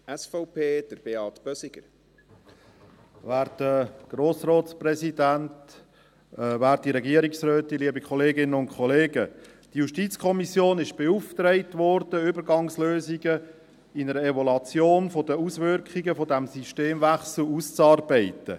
Die JuKo wurde beauftragt, Übergangslösungen für eine Evaluation der Auswirkungen dieses Systemwechsels auszuarbeiten.